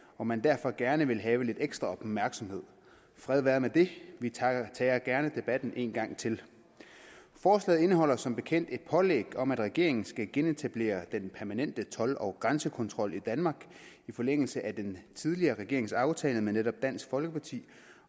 og man derfor gerne vil have lidt ekstra opmærksomhed fred være med det vi tager tager gerne debatten en gang til forslaget indeholder som bekendt et pålæg om at regeringen skal genetablere den permanente told og grænsekontrol i danmark i forlængelse af den tidligere regerings aftale med netop dansk folkeparti